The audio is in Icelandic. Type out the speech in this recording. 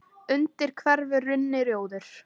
undir hverfur runni, rjóður